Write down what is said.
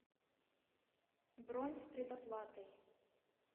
бронь с предоплатой